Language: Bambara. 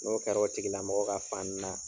N'o kɛr'o tigilamɔgɔ ka fani na